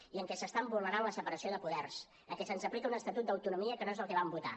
i que s’està vulnerant la separació de poders en què se’ns aplica un estatut d’autonomia que no és el que vam votar